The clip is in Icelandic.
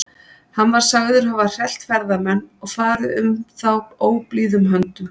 Hann var sagður hafa hrellt ferðamenn og farið um þá óblíðum höndum.